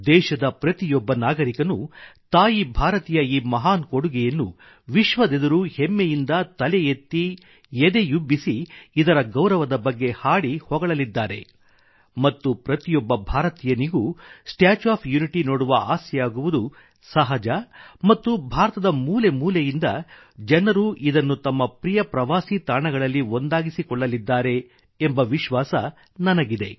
ದೇಶದ ಪ್ರತಿಯೊಬ್ಬ ನಾಗರಿಕನೂ ತಾಯಿ ಭಾರತಿಯ ಈ ಮಹಾನ್ ಕೊಡುಗೆಯನ್ನು ವಿಶ್ವದೆದುರು ಹೆಮ್ಮೆಯಿಂದ ತಲೆ ಎತ್ತಿ ಎದೆಯುಬ್ಬಿಸಿ ಇದರ ಗೌರವದ ಬಗ್ಗೆ ಹಾಡಿ ಹೊಗಳಲಿದ್ದಾರೆ ಮತ್ತು ಪ್ರತಿಯೊಬ್ಬ ಭಾರತೀಯನಿಗೂ ಸ್ಟ್ಯಾಚ್ಯೂ ಆಫ್ ಯುನಿಟಿ ನೋಡುವ ಆಸೆಯಾಗುವುದು ಸಹಜ ಮತ್ತು ಭಾರತದ ಮೂಲೆ ಮೂಲೆಯಿಂದ ಜನರು ಇದನ್ನೂ ತಮ್ಮ ಪ್ರಿಯ ಪ್ರವಾಸಿ ತಾಣಗಳಲ್ಲಿ ಒಂದಾಗಿಸಿಕೊಳ್ಳಲಿದ್ದಾರೆ ಎಂಬ ವಿಶ್ವಾಸ ನನಗಿದೆ